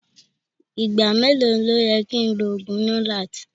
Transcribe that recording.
Igba melo ni o yẹ ki n lo oogun lonart?